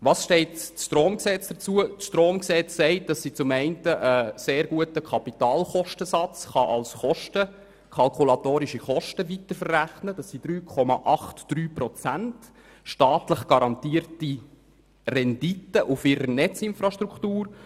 Das Stromgesetz besagt nämlich, dass sie kalkulatorische Kosten zu einem sehr guten Kapitalkostensatz weiterverrechnen kann, nämlich zu 3,83 Prozent staatlich garantierter Rendite auf ihrer Netzinfrastruktur.